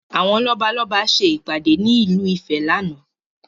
Àwọn lọ́balọ́ba ṣe ìpàdé ní ìlú ìfẹ́ láánaà